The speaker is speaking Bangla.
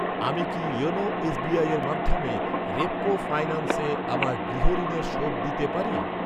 আমি কি ইওনো এসবিআইয়ের মাধ্যমে রেপকো ফাইন্যান্সে আমার গৃহ ঋণের শোধ দিতে পারি?